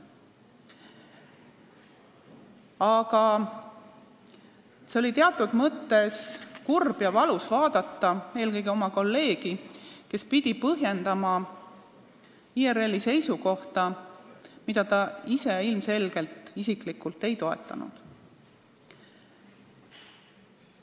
Aga seda oli teatud mõttes kurb ja valus vaadata, kuidas meie kolleeg pidi põhjendama IRL-i seisukohta, mida ta ise ilmselgelt isiklikult ei toetanud.